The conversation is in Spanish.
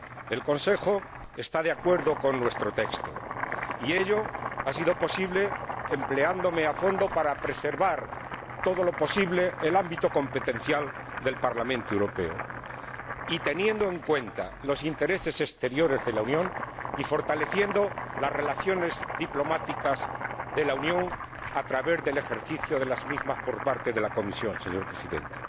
El Consejo está de acuerdo con nuestro texto, y ello ha sido posible porque me he empleado a fondo para preservar todo lo posible el ámbito competencial del Parlamento Europeo, teniendo en cuenta los intereses exteriores de la Unión y fortaleciendo sus relaciones diplomáticas a través del ejercicio de las mismas por parte de la Comisión, señor Presidente.